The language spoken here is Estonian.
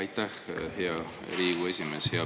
Aitäh, hea Riigikogu esimees!